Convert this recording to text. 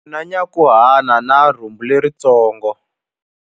U na nyankhuhana na rhumbu leritsongo.